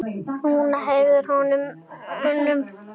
Nína hékk á honum.